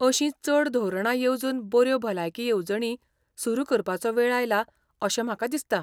अशीं चड धोरणां येवजून बऱ्यो भलायकी येवजणी सुरू करपाचो वेळ आयला अशें म्हाका दिसता.